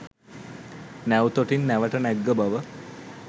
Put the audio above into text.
නැව් තොටින් නැවට නැග්ග බව